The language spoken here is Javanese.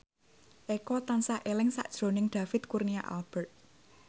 Eko tansah eling sakjroning David Kurnia Albert